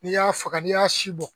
N'i y'a faga n'i y'a si bɔ